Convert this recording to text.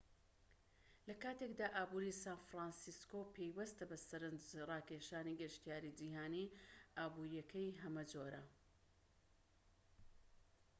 لە کاتێکدا ئابوری سان فرانسیسکۆ پەیوەستە بە سەرنج ڕاکێشانی گەشتیاری جیهانی ئابوریەکەی هەمەجۆرە